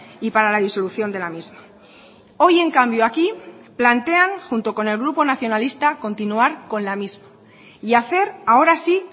y para la disolución de la misma hoy en cambio aquí plantean junto con el grupo nacionalista continuar con la misma y hacer ahora sí